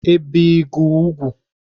i bìe gi úgwù?